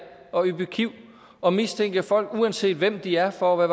at yppe kiv og mistænke folk uanset hvem de er for at